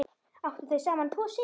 Áttu þau saman tvo syni.